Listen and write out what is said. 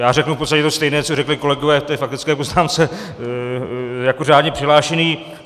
Já řeknu v podstatě to stejné, co řekli kolegové v té faktické poznámce, jako řádně přihlášený.